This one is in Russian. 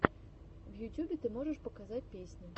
в ютюбе ты можешь показать песни